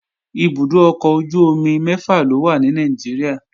Ibùdó ọkọ̀ ojú-omi mẹ́fà ló wà ní Nàìjíríà